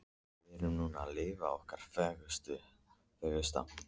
Við erum núna að lifa okkar fegursta.